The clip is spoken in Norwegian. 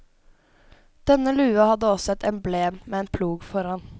Denne lua hadde også et emblem med en plog foran.